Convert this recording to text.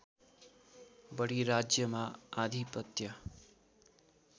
बढी राज्यमा आधिपत्य